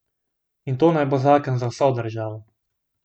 In to naj bo zakon za vso državo.